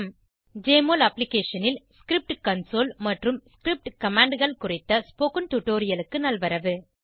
JMOL அப்ளிகேஷனில் script console மற்றும் script commandகள் குறித்த ஸ்போகன் டுடோரியலுக்கு நல்வரவு